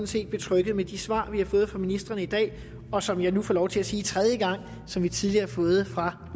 set betryggede med de svar vi har fået fra ministrene i dag og som jeg nu får lov til at sige for tredje gang som vi tidligere har fået fra